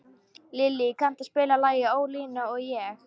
Lillý, kanntu að spila lagið „Ólína og ég“?